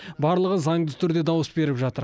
барлығы заңды түрде дауыс беріп жатыр